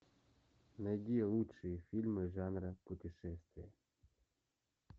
найди лучшие фильмы жанра путешествия